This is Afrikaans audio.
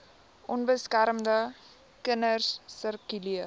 onbeskermde kinders sirkuleer